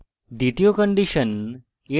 দ্বিতীয় condition